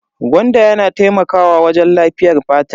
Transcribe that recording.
Gwanda yana taimakawa wajen lafiyar fata.